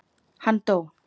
Hann dó.